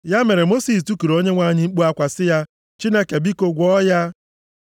Ya mere Mosis tikuru Onyenwe anyị mkpu akwa sị ya, “Chineke, biko, gwọọ ya!”